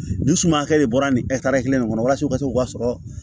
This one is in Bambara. Ni suma hakɛ de bɔra nin kelen de kɔnɔ walasa u ka se k'u ka sɔrɔ